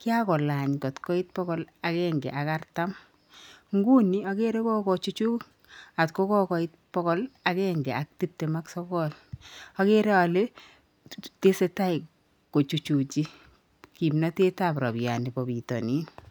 Kiagolany kot koit bokool agenge ak artam. Nguni ogere kogochuch kot kokoit bokool agenge ak tiptem ak sokool. Ogere ole, tesetai kochuchuji kimnatetab rabiani bo bitonin.